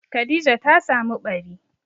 Khadija ta samu ɓari.